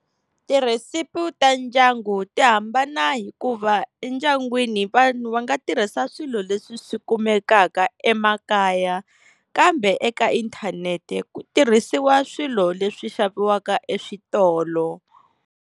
Tirhesipi ta ndyangu ti hambana hikuva endyangwini vanhu va nga tirhisa swilo leswi swi kumekaka emakaya, kambe eka inthanete ku tirhisiwa swilo leswi xaviwaka eswitolo.